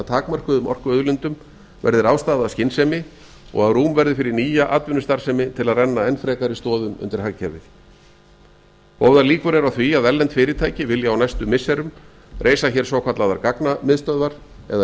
takmörkuðum orkuauðlindum verði ráðstafað af skynsemi og að rúm verði fyrir nýja atvinnustarfsemi til að renna enn frekari stoðum undir hagkerfið góðar líkur eru á var að erlend fyrirtæki vilji á næstu missirum reisa hér svokallaðar gagnamiðstöðvar eða